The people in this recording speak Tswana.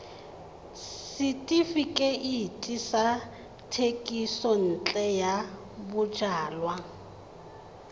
setefikeiti sa thekisontle ya bojalwa